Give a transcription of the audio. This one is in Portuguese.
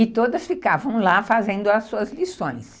e todas ficavam lá fazendo as suas lições.